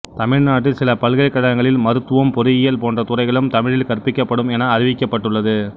தமிழ்நாட்டில் சில பல்கலைக்கழகங்களில் மருத்துவம் பொறியியல் போன்ற துறைகளும் தமிழில் கற்பிக்கப்படும் என அறிவிக்கப்பட்டுள்ளது